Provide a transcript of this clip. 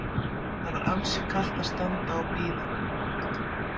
Það var ansi kalt að standa og bíða.